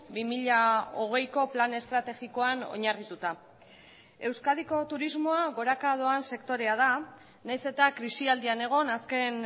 bi mila hogeiko plan estrategikoan oinarrituta euskadiko turismoa goraka doan sektorea da nahiz eta krisialdian egon azken